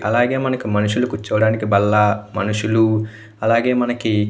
అలాగే మనకు మనుషులకు చూడడానికి బల్ల మనుషులు అలాగే మనకి --